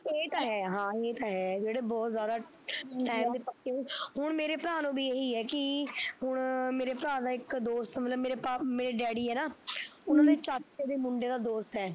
ਹਾਂ ਏਹ ਤਾਂ ਹੈ ਹਾਂ ਏਹ ਤਾਂ ਹੈ ਜਿਹੜੇ ਬਹੁਤ ਜਿਆਦਾ ਟੈਮ ਦੇ ਪੱਕੇ, ਹੁਣ ਮੇਰੇ ਭਰਾ ਨੂੰ ਵੀ ਏਹੀ ਐ ਕੀ ਹੁਣ ਮੇਰੇ ਭਰਾ ਦਾ ਇੱਕ ਦੋਸਤ ਮਤਲਬ ਮੇਰੇ ਪਾ ਮੇਰੇ ਡੈਡੀ ਆ ਨਾ ਹਮ ਉਹਨਾਂ ਦੇ ਚਾਚੇ ਦੇ ਮੁੰਡੇ ਦਾ ਦੋਸਤ ਐ